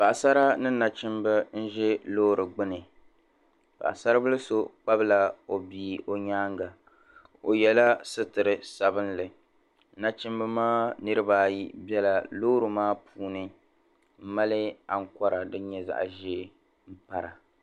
Paɣisara ni nachimba n-za loori gbini. Paɣisaribila so kpabila o bia o nyaaŋga. O yɛla sitir' sabilinli. Nachimba maa niriba ayi bela loori maa puuni m-mali aŋkɔra din zaɣ' ʒee m-para.